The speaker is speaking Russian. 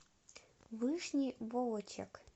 вышний волочек